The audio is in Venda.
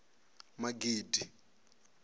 magidi